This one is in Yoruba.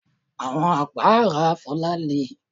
Àwọn àpárá Fola le